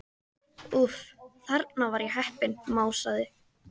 Úff, þarna var ég heppin másaði